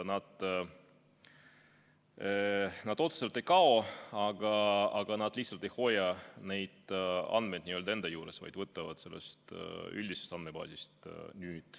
Need otseselt ei kao, aga nad lihtsalt ei hoia neid andmeid enda juures, vaid võtavad nüüd sellest üldisest andmebaasist.